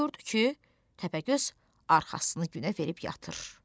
Gördü ki, Təpəgöz arxasını günə verib yatır.